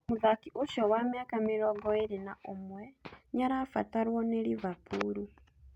Mũthaki ũcio wa mĩaka mĩrongo ĩĩrĩ na ũmwe nĩarabatarũo nĩ Liverpool